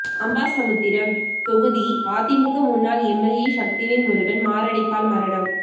அம்பாசமுத்திரம் தொகுதி அதிமுக முன்னாள் எம்எல்ஏ சக்திவேல் முருகன் மாரடைப்பால் மரணம்